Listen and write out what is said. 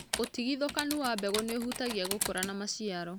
ũtigithũkanu wa mbegu nĩũhutagia gũkũra na maciaro.